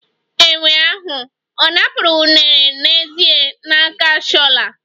Enwe ahụ ọ̀ napụrụ unere n'ezie n'akpa Shola?